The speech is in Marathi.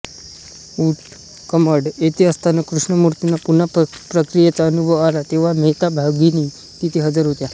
ऊटकमंड इथे असताना कृष्णमूर्तींना पुन्हा प्रक्रियेचा अनुभव आला तेव्हा मेहता भगिनी तिथे हजर होत्या